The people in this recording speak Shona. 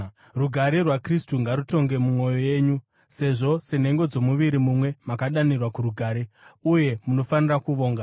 Rugare rwaKristu ngarutonge mumwoyo yenyu, sezvo senhengo dzomuviri mumwe makadanirwa kurugare. Uye munofanira kuvonga.